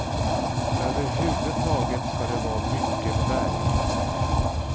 Överhuvudtaget ska det vara mycket färg.